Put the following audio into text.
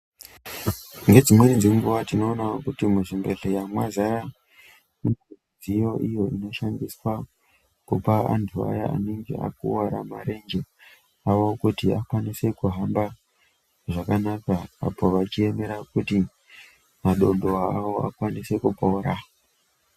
Nedzimweni dzenguva tinoonawo kuti muzvibhehlera mwazara midziyo iyo inoshandiswa kupa antu aya anenge akuwara marenje awo kuti akwanise kuhamba zvakanaka apo vachiemera kuti madondoo avo akwanise kupora.